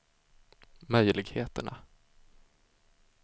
möjligheterna